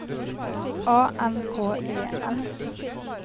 A N K E N